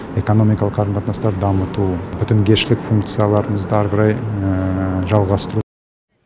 экономикалық қарым қатынастарды дамыту бітімгершілік функцияларымызды әрі қарай жалғастыру